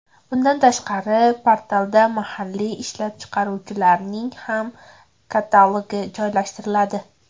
Bundan tashqari, portalda mahalliy ishlab chiqaruvchilarning ham katalogi joylashtiriladi.